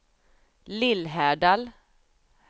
Lillhärdal